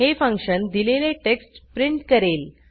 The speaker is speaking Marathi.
हे फंक्शन दिलेले टेक्स्ट प्रिंट करेल